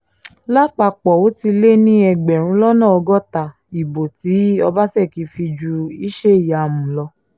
lápapọ̀ ó ti lé ní ẹgbẹ̀rún lọ́nà ọgọ́ta ìbò tí ọbaṣẹ́kì fi ju iṣẹ́ ìyàmu lọ